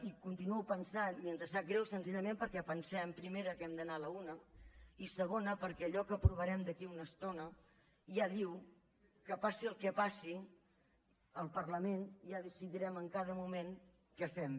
hi continuo pensant i ens sap greu senzillament perquè pensem primera que hem d’anar a la una i segona perquè allò que aprovarem d’aquí a una estona ja diu que passi el que passi el parlament ja decidirem en cada moment què fem